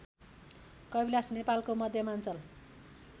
कविलास नेपालको मध्यमाञ्चल